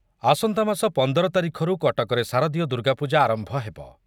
ଆସନ୍ତାମାସ ପନ୍ଦର ତାରିଖରୁ କଟକରେ ଶାରଦୀୟ ଦୁର୍ଗାପୂଜା ଆରମ୍ଭ ହେବ ।